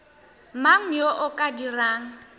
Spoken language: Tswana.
mang yo o ka dirang